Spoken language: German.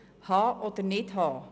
Haben oder nicht haben.